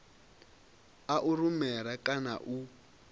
a u rumela kana u